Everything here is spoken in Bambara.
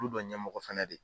Olu bɛ ɲɛ mɔgɔ fɛnɛ de